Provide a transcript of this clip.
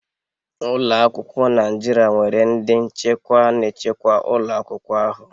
Ụlọ akwụkwọ Naijiria nwere nde nchekwa na-echekwa ụlọ akwụkwọ ahụ